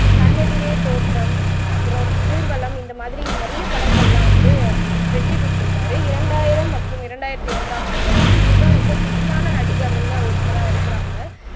கண்ணெதிரே தோற்றம், அப்புறம், ஊர்வலம் இந்த மாதிரி நிறைய படங்கள்லாம் வந்து வெற்றி கொடுத்திருக்காரு இரண்டாயிரம் மற்றும் இரண்டாயிரத்தி ஒண்ணாம் ஆண்டுல வந்து இவர்தான் ரொம்ப பிசியான நடிகர்கள்ல ஒருத்தரா இருக்குறாங்க